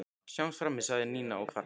Sjáumst frammi sagði Nína og hvarf.